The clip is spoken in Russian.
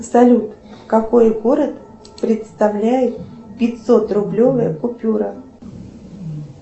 салют какой город представляет пятьсот рублевая купюра